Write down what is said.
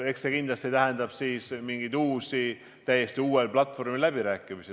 Eks see kindlasti tähendab mingeid uusi, täiesti uuel platvormil peetavaid läbirääkimisi.